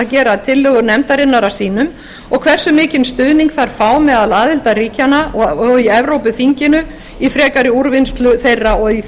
gera tillögur nefndarinnar að sínum og hversu mikinn stuðning þær fá meðal aðildarríkjanna og í evrópuþinginu í frekari úrvinnslu og í því